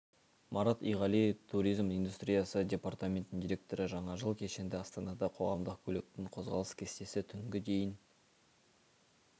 марат иғали туризм индустриясы департаментінің директоры жаңа жыл кешінде астанада қоғамдық көліктің қозғалыс кестесі түнгі дейін